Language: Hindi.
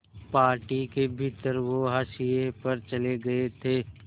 पार्टी के भीतर वो हाशिए पर चले गए थे